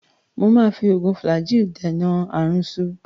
Mo máa fi oògùn Flagyl dènà aàrùnsu